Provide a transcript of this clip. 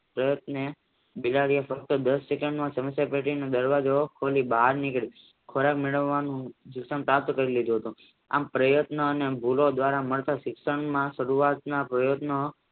પ્રયત્ને બિલાડીએ ફક્ત દાસ સેકન્ડ માં સમસ્યા ટેટીની બહાર નિકરી ખોરાક મેળવવાનું શિક્ષણ પ્રાપ્ત કરી લીધું હતું આમ પ્રયત્નો દ્વારા માલ્ટા શિક્ષણમાં સારુવાતના પ્રયત્નો